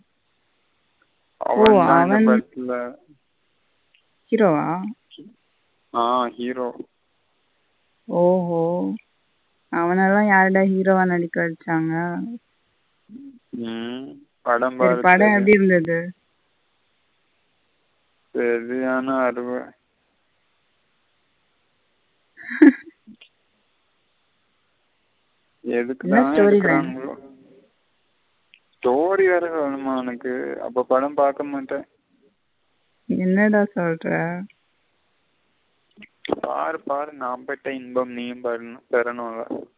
பாரு பாரு நா பெட்ட இன்பம் நீயும் பெறனுல.